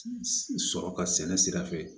Sɔrɔ ka sɛnɛ sira fɛ